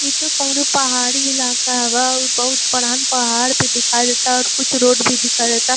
इ तो कोनो पहाड़ी इलाका बा। बहुत बड़हन पहाड़ भी दिखाई देता और कुछ रोड भी दिखाई देता --